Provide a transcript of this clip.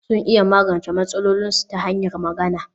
Sun iya magance matsalolinsu ta hanyar magana